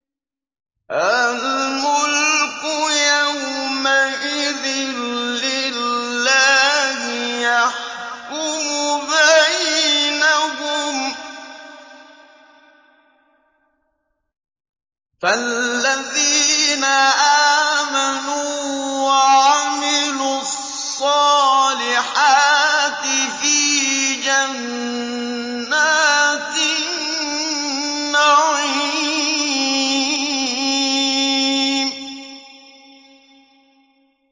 الْمُلْكُ يَوْمَئِذٍ لِّلَّهِ يَحْكُمُ بَيْنَهُمْ ۚ فَالَّذِينَ آمَنُوا وَعَمِلُوا الصَّالِحَاتِ فِي جَنَّاتِ النَّعِيمِ